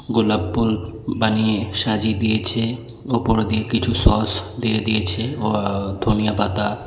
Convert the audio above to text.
গোলাপ পুল বানিয়ে সাজিয়ে দিয়েছে ওপর দিয়ে কিছু সস দিয়ে দিয়েছে ওআ ধনিয়া পাতা--